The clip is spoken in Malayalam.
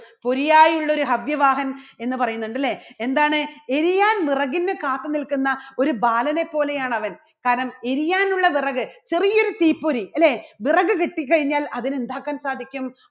രിയായി ഉള്ളോരു ഹവ്യവാഹം എന്ന് പറയുന്നുണ്ട് അല്ലേ? എന്താണ് എരിയാൻ വിറകിന് കാത്തുനിൽക്കുന്ന ഒരു ബാലനെ പോലെയാണ് അവൻ. കാരണം എരിയാനുള്ള വിറക് ചെറിയൊരു തീപ്പൊരി അല്ലേ? വിറക് കിട്ടിക്കഴിഞ്ഞാൽ അതിന് എന്താക്കാൻ സാധിക്കും